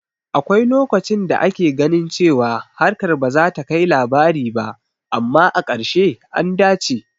Akwai lokacin da ake ganin cewa harkar bazata kai labari ba, amma a ƙarshe, an dace